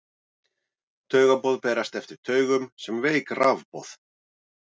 Taugaboð berast eftir taugum sem veik rafboð.